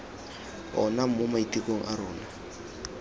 ona mo maitekong a rona